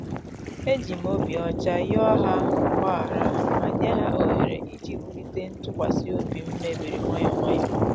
E jim obi ocha yoo ha mgbaghara ma nye ha ohere iji wulite ntụkwasị obi mebiri nwayọ nwayọ